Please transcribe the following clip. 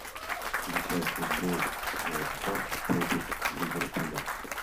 включай футбол уотфорд против ливерпуля